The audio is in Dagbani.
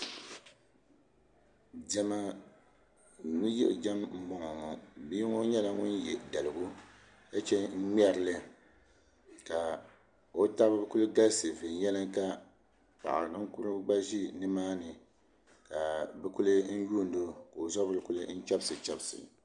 Diɛma ni yiɣijɛm n boŋo ŋo bia ŋo nyɛla ŋun yɛ daligu ka chɛŋ n ŋmɛrili ka o tabi ku galisi viɛnyɛlinga paɣa ninkurigu gba ʒi nimaani ka bi kuli yuundo ka o zabiri ku chɛbisi chɛbisi